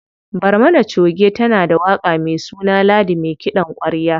Barmana choge tana da waƙa me suna Ladi me kiɗan ƙwarya.